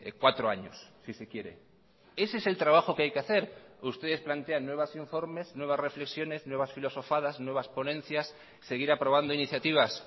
cuatro años si se quiere ese es el trabajo que hay que hacer ustedes plantean nuevos informes nuevas reflexiones nuevas filosofadas nuevas ponencias seguir aprobando iniciativas